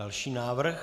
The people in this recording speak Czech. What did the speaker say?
Další návrh.